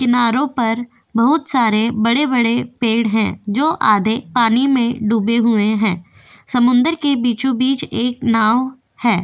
किनारो पर बहुत सारे बड़े बड़े पेड है जो आदे पानी में डूबे हुए है समुंदर के बीचो बीच एक नाव है।